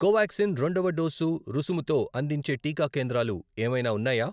కోవాక్సిన్ రెండవ డోసు రుసుముతో అందించే టీకా కేంద్రాలు ఏమైనా ఉన్నాయా?